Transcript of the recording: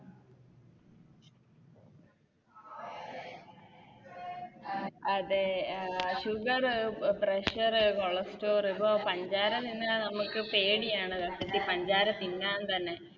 അതെ അഹ് Sugar pressure cholesterol ഇതോ പഞ്ചാര തിന്നാൻ പേടിയാണ് സത്യത്തിൽ പഞ്ചാര തിന്നാൻ തന്നെ